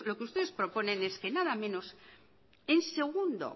que lo que ustedes proponen es que nada menos en segundo